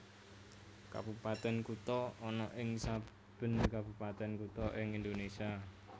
Kabupatèn Kutha ana ing saben kabupatèn kutha ing Indonésia